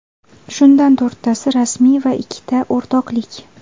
Shundan to‘rttasi rasmiy va ikkita o‘rtoqlik.